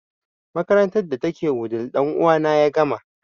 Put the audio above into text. Makarantar da ta ke wudil ɗan uwa na ya gama